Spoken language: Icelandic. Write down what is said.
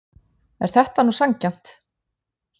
Er þetta nú sanngjarnt?